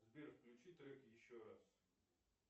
сбер включи трек еще раз